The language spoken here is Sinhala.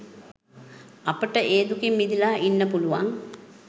අපිට ඒ දුකින් මිදිලා ඉන්න පුලුවන්.